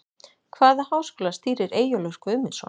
Hvaða háskóla stýrir Eyjólfur Guðmundsson?